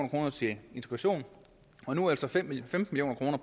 kroner til integration og nu altså femten million kroner